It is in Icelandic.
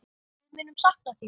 Við munum sakna þín.